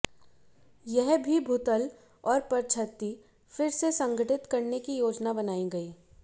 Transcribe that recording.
यह भी भूतल और परछत्ती फिर से संगठित करने की योजना बनाई गई